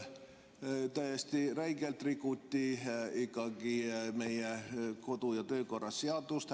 Täiesti räigelt rikuti ikkagi meie kodu‑ ja töökorra seadust.